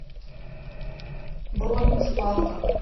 бронь спарта